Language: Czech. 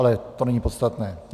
Ale to není podstatné.